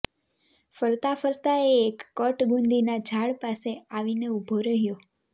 ફરતા ફરતા એ એક કટ ગુંદીના ઝાડ પાસે આવીને ઉભો રહ્યો